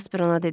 Jasper ona dedi.